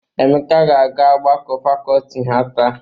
Emeka ga-aga ọgbakọ fakọọti ha taa.